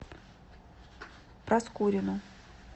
проскурину